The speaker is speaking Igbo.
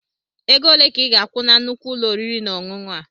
Ego ole ka ịga-akwụ na nnukwu ụlọ oriri na ọṅụṅụ a?